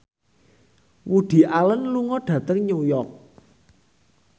Woody Allen lunga dhateng New York